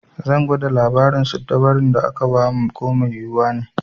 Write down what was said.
Zan gwada labarin siddabarun da aka ba mu ko mai yiwuwa ne.